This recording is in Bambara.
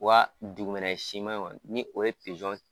Wa dugumɛnɛ sima kɔni ni o ye